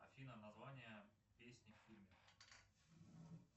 афина название песни в фильме